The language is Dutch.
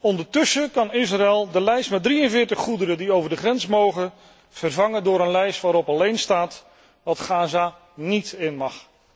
Ondertussen kan Israël de lijst met 43 goederen die over de grens mogen, vervangen door een lijst waarop alleen staat wat Gaza niet in mag.